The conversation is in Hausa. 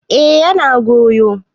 eh yana goyo